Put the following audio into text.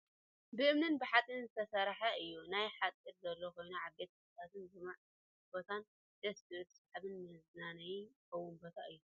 ብእምንን ብሓፂንን ብዝተረሰሐ እዩ። ናይ ሓፆር ዘሎ ኮይኑ ዓበይቲ ተክልታትን ልሙዕ ቦታን ደስ ዝብል ስሓብን መዝናነይ ዝኮውን ቦታ እዩ ።